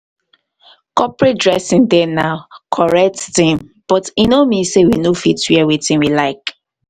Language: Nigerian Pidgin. corporate dressing dey na correct thing but e no mean sey we no fit wear wetin we like.